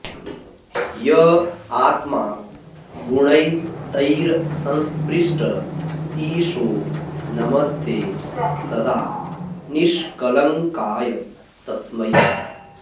य आत्मा गुणैस्तैरसंस्पृष्ट ईशो नमस्ते सदा निष्कळङ्काय तस्मै